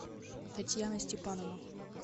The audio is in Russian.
татьяна степанова